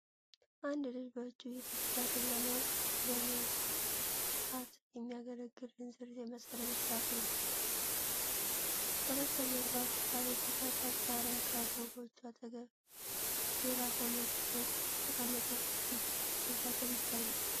አንድ ልጅ በእጁ የጥጥ ፈትል ለመልፋት የሚያገለግል እንዝርት የመሰለ መሳሪያ ይዟል። ከበስተጀርባ በሳር የተሰራ ጣሪያ ካለው ጎጆ አጠገብ ሌላ ሰው መሬት ላይ ተቀምጦ ጥጥ ሲፈትል ይታያል።